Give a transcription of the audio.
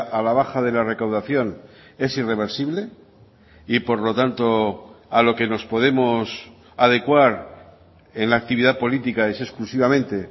a la baja de la recaudación es irreversible y por lo tanto a lo que nos podemos adecuar en la actividad política es exclusivamente